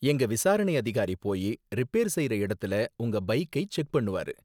எங்க விசாரணை அதிகாரி போயி ரிப்பேர் செய்ற இடத்தல உங்க பைக்கை செக் பண்ணுவாரு.